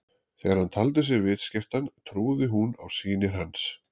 Þegar hann taldi sig vitskertan trúði hún á sýnir hans.